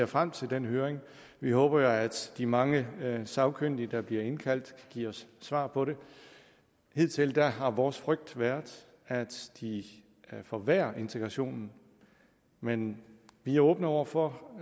frem til den høring vi håber jo at de mange sagkyndige der bliver indkaldt giver svar på det hidtil har vores frygt været at de forværrer integrationen men vi er åbne over for